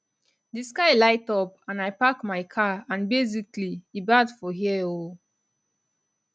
di sky light up and i park my car and basically e bad for here oo